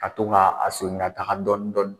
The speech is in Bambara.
Ka to ka a sonin ga taga dɔɔnin dɔɔnin